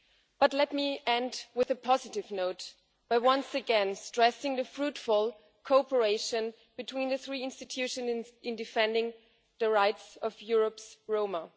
But let me end on a positive note by once again stressing the fruitful cooperation between the three institutions in defending the rights of Europe's Roma.